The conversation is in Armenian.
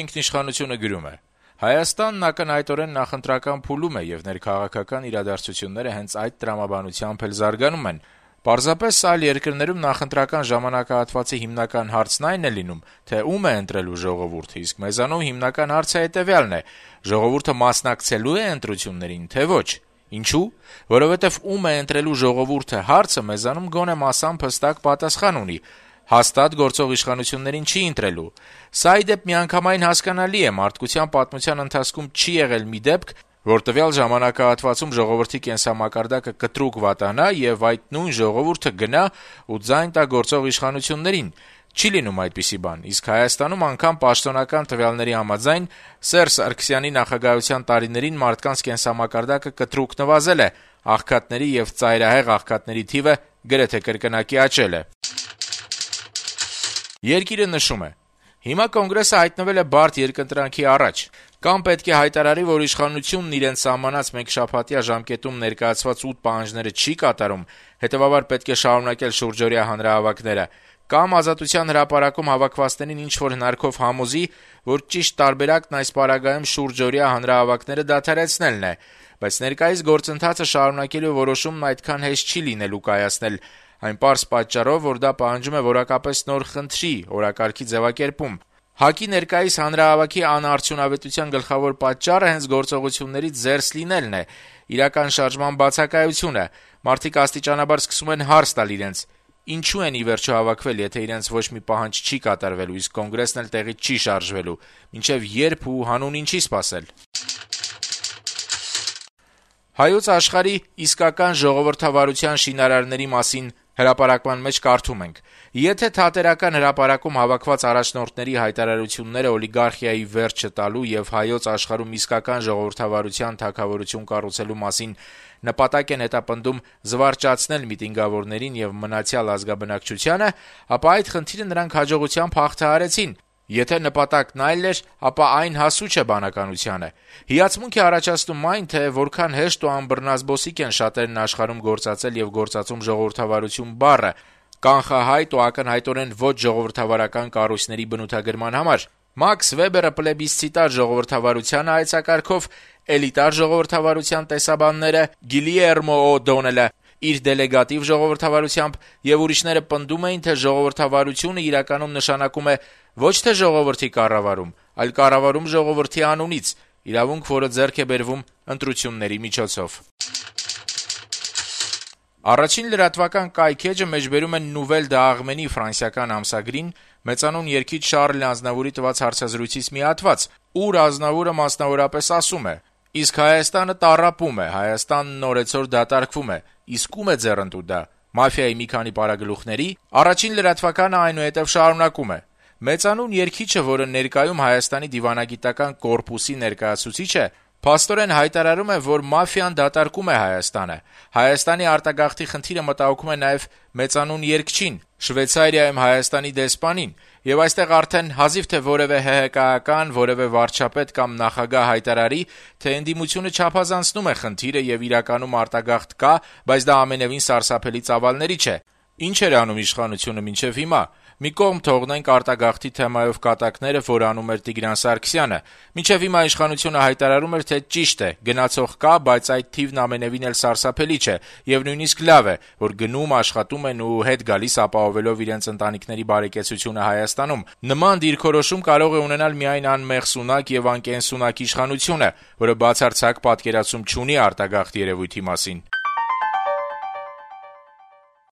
ինքնիշխանություն»-ը գրում է. - «Հայաստանն ակնհայտորեն նախընտրական փուլում է, եւ ներքաղաքական իրադարձությունները հենց այդ տրամաբանությամբ էլ զարգանում են: Պարզապես այլ երկրներում նախընտրական ժամանակահատվածի հիմնական հարցն այն է լինում, թե ո՞ւմ է ընտրելու ժողովուրդը, իսկ մեզանում հիմնական հարցը հետեւյալն է` ժողովուրդը մասնակցելո՞ւ է ընտրություներին, թե՞ ոչ: Ինչո՞ւ: Որովհետեւ «ո՞ւմ է ընտրելու ժողովուրդը» հարցը մեզանում գոնե մասամբ հստակ պատասխան ունի` հաստատ գործող իշխանություններին չի ընտրելու: Սա, ի դեպ, միանգամայն հասկանալի է: Մարդկության պատմության ընթացքում չի եղել մի դեպք, որ տվյալ ժամանակահատվածում ժողովրդի կենսամակարդակը կտրուկ վատանա, եւ այդ նույն ժողովուրդը գնա ու ձայն տա գործող իշխանություններին: Չի' լինում այդպիսի բան: Իսկ Հայաստանում, անգամ պաշտոնական տվյալների համաձայն, Սերժ Սարգսյանի նախագահության տարիներին մարդկանց կենսամակարդակը կտրուկ նվազել է, աղքատների եւ ծայրահեղ աղքատների թիվը գրեթե կրկնակի աճել է»: «Երկիր»-ը նշում է. - «Հիմա Կոնգրեսը հայտնվել է բարդ երկընտրանքի առաջ: Կամ պետք է հայտարարի, որ իշխանությունն իրենց սահմանած մեկշաբաթյա ժամկետում ներկայացված 8 պահանջները չի կատարում, հետեւաբար պետք է շարունակել շուրջօրյա հանրահավաքները, կամ Ազատության հրապարակում հավաքվածներին ինչ-որ հնարքով համոզի, որ ճիշտ տարբերակն այս պարագայում շուրջօրյա հանրահավաքները դադարեցնելն է: Բայց ներկայիս գործընթացը շարունակելու որոշումն այդքան հեշտ չի լինելու կայացնել այն պարզ պատճառով, որ դա պահանջում է որակապես նոր խնդրի, օրակարգի ձեւակերպում: ՀԱԿ-ի ներկայիս հանրահավաքի անարդյունավետության գլխավոր պատճառը հենց գործողություններից զերծ լինելն է, իրական շարժման բացակայությունը: Մարդիկ աստիճանաբար սկսում են հարց տալ իրենց` ինչու են, ի վերջո, հավաքվել, եթե իրենց ոչ մի պահանջը չի կատարվելու, իսկ Կոնգրեսն էլ տեղից չի շարժվելու, մինչեւ ե՞րբ ու հանուն ինչի՞ սպասել»: «Հայոց Աշխարհ»-ի «Իսկական ժողովրդավարության շինարարների մասին» հրապարակման մեջ կարդում ենք. - «Եթե Թատերական հրապարակում հավաքված առաջնորդների հայտարարությունները օլիգարխիայի վերջը տալու եւ հայոց աշխարհում իսկական ժողովրդավարության թագավորություն կառուցելու մասին նպատակ են հետապնդում զվարճացնել միտինգավորներին եւ մնացյալ ազգաբնակչությանը, ապա այդ խնդիրը նրանք հաջողությամբ հաղթահարեցին։ Եթե նպատակն այլ էր, ապա այն հասու չէ բանականությանը։ Դե լավ, եթե ուզում եք, խոսենք ժողովրդավարության մասին։ Հիացմունք է առաջացնում այն, թե որքան հեշտ ու անբռնազբոսիկ են շատերն աշխարհում գործածել ու գործածում «ժողովրդավարություն» բառը կանխահայտ ու ակնհայտորեն ոչ ժողովրդավարական կառույցների բնութագրման համար։ Մաքս Վեբերը՝ «պլեբիսցիտար ժողովրդավարության» հայեցակարգով, «էլիտար ժողովրդավարության» տեսաբանները (Յոզեֆ Շումպետեր, Ռոբերտ Դալ, Սեյմուր Լիպսետ, Ջովաննի Սարտորի), Գիլիերմո Օ’Դոնելը՝ իր «դելեգատիվ ժողովրդավարությամբ» եւ ուրիշները պնդում էին, թե «ժողովրդավարությունը» իրականում նշանակում է ոչ թե ժողովրդի կառավարում, այլ կառավարում ժողովրդի անունից, իրավունք, որը ձեռք է բերվում ընտրությունների միջոցով»։ «Առաջին լրատվական» կայքէջը մեջբերում է Nouvelles d'Arménie ֆրանսիական ամսագրին մեծանուն երգիչ Շառլ Ազնավուրի տված հարցազրույցից մի հատվածը, ուր Ազնավուրը, մասնավորապես, ասում է. - «Իսկ Հայաստանը տառապում է, Հայաստանն օրեցօր դատարկվում է։ Իսկ ո՞ւմ է ձեռնտու դա։ Մաֆիայի մի քանի պարագլուխների՞»: Կայքէջը շարունակում է. - «Մեծանուն երգիչը, որը ներկայումս Հայաստանի դիվանագիտական կորպուսի ներկայացուցիչ է, փաստորեն հայտարարում է, որ մաֆիան դատարկում է Հայաստանը: Հայաստանի արտագաղթի խնդիրը մտահոգում է նաեւ մեծանուն երգչին՝ Շվեյցարիայում Հայաստանի դեսպանին, եւ այստեղ արդեն հազիվ թե որեւէ ՀՀԿ-ական, որեւէ վարչապետ կամ նախագահ հայտարարի, թե ընդդիմությունը չափազանցնում է խնդիրը, եւ իրականում արտագաղթ կա, բայց դա ամենեւին սարսափելի ծավալների չէ: Ինչ էր անում իշխանությունը մինչեւ հիմա: Մի կողմ թողնենք արտագաղթի թեմայով կատակները, որ անում էր Տիգրան Սարգսյանը: Մինչեւ հիմա իշխանությունը հայտարարում էր, թե, ճիշտ է, գնացող կա, բայց այդ թիվն ամենեւին էլ սարսափելի չէ, եւ նույնիսկ լավ է, որ գնում են, աշխատում ու հետ գալիս՝ ապահովելով իրենց ընտանիքների բարեկեցությունը Հայաստանում: Նման դիրքորոշում կարող է ունենալ միայն անմեղսունակ եւ անկենսունակ իշխանությունը, որը բացարձակ պատկերացում չունի արտագաղթ երևույթի մասին»: